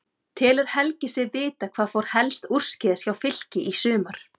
Telur Helgi sig vita hvað fór helst úrskeiðis hjá Fylki í sumar?